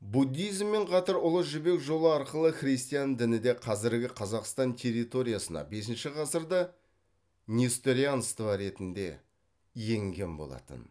буддизммен қатар ұлы жібек жолы арқылы христиан діні де қазіргі қазақстан территориясына бесінші ғасырда несторианство ретінде енген болатын